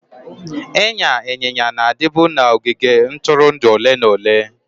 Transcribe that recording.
Ịnya ịnyịnya na-adịbu na ogige ntụrụndụ ole na ole.